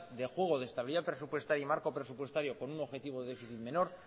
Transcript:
de juego de estabilidad presupuestaria y marco presupuestario con un objetivo de déficit menor